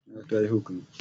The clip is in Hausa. Taliya za a ba ni.